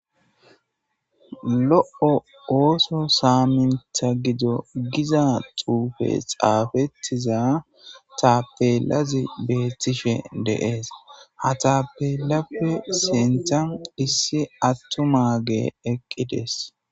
Lo7o ooso saamintha gido giza tuufe xaafettiza tapelazi beethtishe deees ha tapelappe seenthan issi attu maage eqqides.